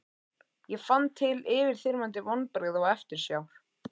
Ég fann til yfirþyrmandi vonbrigða og eftirsjár.